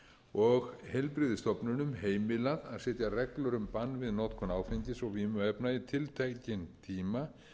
og heilbrigðisstofnunum heimilað að setja reglur um bann við notkun áfengis og vímuefna í tiltekinn tíma